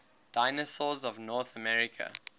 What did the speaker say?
dinosaurs of north america